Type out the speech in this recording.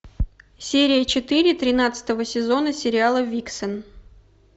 серия четыре тринадцатого сезона сериала виксен